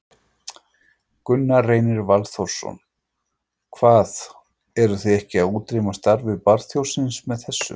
Gunnar Reynir Valþórsson: Hvað, eruð þið ekki að útrýma starfi barþjónsins með þessu?